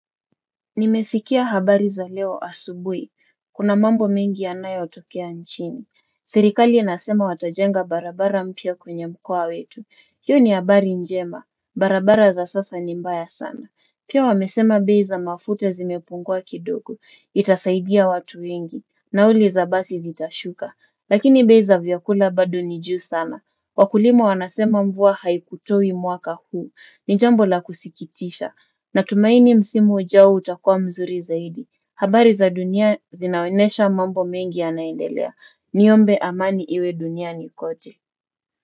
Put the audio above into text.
Nimesikia habari za leo asubui, kuna mambo mengi yanayo tokea nchini. Serikali inasema watajenga barabara mpya kwenye mkoa wetu, hiyo ni habari njema, barabara za sasa ni mbaya sana. Pia wamesema bei za mafuta zimepungua kidogo, itasaidia watu wengi, nauli za basi zitashuka, lakini bei za vyakula bado ni juu sana. Wakulima wanasema mvua haikutoi mwaka huu. Ni jambo la kusikitisha. Natumaini msimu ujao utakua mzuri zaidi. Habari za dunia zinaonyesha mambo mengi yanaendelea. Niombe amani iwe duniani kote.